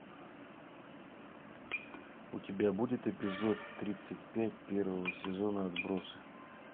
у тебя будет эпизод тридцать пять первого сезона отбросы